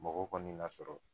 Mɔgɔ kɔni lasɔrɔ